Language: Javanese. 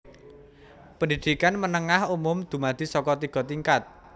Pendhidhikan menengah umum dumadi saka tiga tingkat